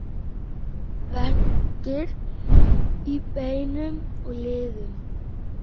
Verkir í beinum og liðum